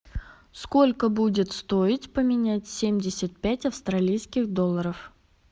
сколько будет стоить поменять семьдесят пять австралийских долларов